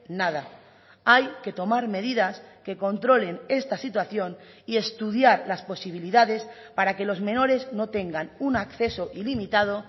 nada hay que tomar medidas que controlen esta situación y estudiar las posibilidades para que los menores no tengan un acceso ilimitado